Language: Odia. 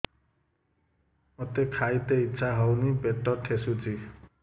ମୋତେ ଖାଇତେ ଇଚ୍ଛା ହଉନି ପେଟ ଠେସୁଛି